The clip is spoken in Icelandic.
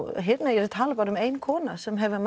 ég er að tala bara um ein kona sem hefur